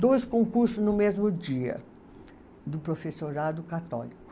Dois concursos no mesmo dia, do professorado católico.